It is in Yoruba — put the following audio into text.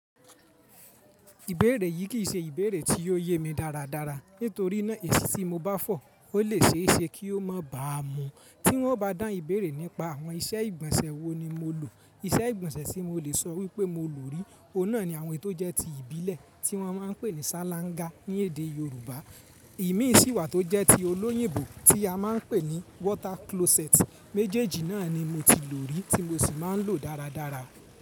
Ìbéèrè yìí kì í ṣe ìbéèrè tí ò yé mi dáradára, nítorí náà èsì tí mo bá fọ̀ ó lè ṣe é ṣe kí ó má bàá mu. Tí wọ́n o bá dán ìbéèrè nípa àwọn iṣẹ́ ìgbọ̀nsẹ̀ wo ni mo lò, iṣẹ́ ìgbọ̀nsẹ̀ tí mo lè sọ wípé mo lò rí, ọ̀nà ni àwọn ètò jẹ́ ti ìbílẹ̀ tí wọ́n máa ń pè ní sáláńgá ní èdè Yorùbá. Ìmí síwà tó jẹ́ ti olóyìnbó tí a ma ń pè ní water closet méjèèjì náà ni mo ti lò rí tí mo sì máa ń lò dáradára.